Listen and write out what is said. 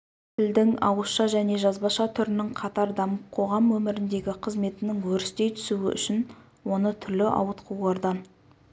тілдің ауызша және жазбаша түрінің қатар дамып қоғам өміріндегі қызметінің өрістей түсуі үшін оны түрлі ауытқулардан